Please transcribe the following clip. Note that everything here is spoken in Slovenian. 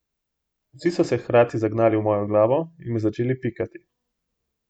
Vsi so se hkrati zagnali v mojo glavo in me začeli pikati.